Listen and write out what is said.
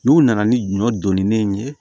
N'u nana ni ɲɔ donni ye